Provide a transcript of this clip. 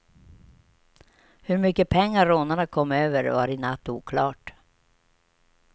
Hur mycket pengar rånarna kom över var i natt oklart.